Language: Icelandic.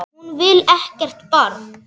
Hún vill ekkert barn.